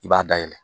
I b'a dayɛlɛ